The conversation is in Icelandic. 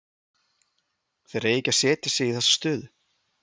Þeir eiga ekki að setja sig í þessa stöðu.